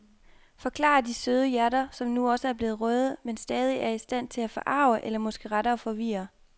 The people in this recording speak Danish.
Forklarer de søde hjerter, som nu også er blevet røde, men stadigvæk er i stand til at forarge eller måske rettere forvirre.